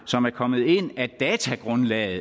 som er kommet ind at datagrundlaget i